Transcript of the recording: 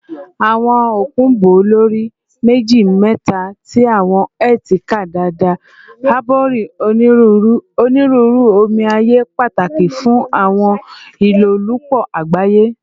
Awọn okun bo lori meji-meta ti awọn Earth ká dada, harboring Oniruuru oniruuru omi aye pataki fun awọn ilolupo agbaye